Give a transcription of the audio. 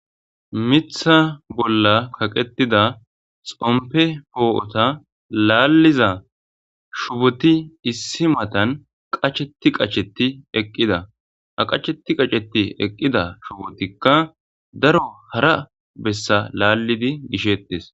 mitha bolla kaqetida xompe poo7ota laalliza shuboti issi matan qacheti qacheti eqqida aqacheti qaceti eqqida shubotikka daro hara bessa laallidi gisheettes